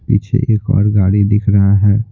पीछे एक और गाड़ी दिख रहा है।